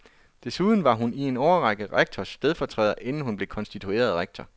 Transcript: Desuden var hun i en årrække rektors stedfortræder, inden hun blev konstitueret rektor.